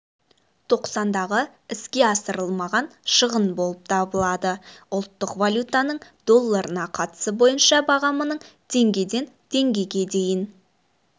тоқсандағы іске асырылмаған шығын болып табылады ұлттық валютаның долларына қатысы бойынша бағамының теңгеден теңгеге дейін